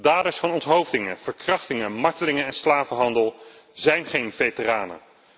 Daders van onthoofdingen verkrachtingen, martelingen en slavenhandel zijn geen veteranen.